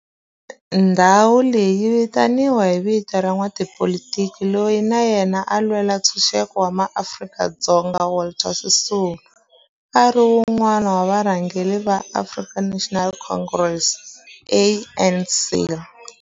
Ndhawo leyi yi vitaniwa hi vito ra n'watipolitiki loyi na yena a lwela ntshuxeko wa maAfrika-Dzonga Walter Sisulu, a ri wun'wana wa varhangeri va African National Congress, ANC.